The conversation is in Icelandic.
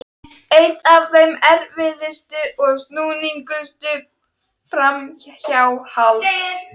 Eitt af þeim erfiðustu og snúnustu er framhjáhald.